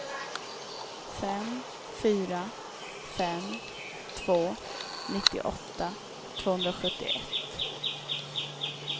fem fyra fem två nittioåtta tvåhundrasjuttioett